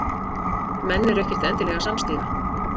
Menn eru ekkert endilega samstíga